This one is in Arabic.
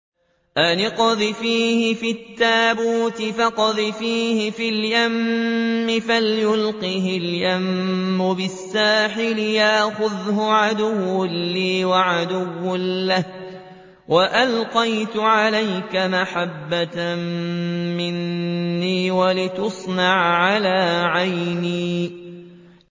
أَنِ اقْذِفِيهِ فِي التَّابُوتِ فَاقْذِفِيهِ فِي الْيَمِّ فَلْيُلْقِهِ الْيَمُّ بِالسَّاحِلِ يَأْخُذْهُ عَدُوٌّ لِّي وَعَدُوٌّ لَّهُ ۚ وَأَلْقَيْتُ عَلَيْكَ مَحَبَّةً مِّنِّي وَلِتُصْنَعَ عَلَىٰ عَيْنِي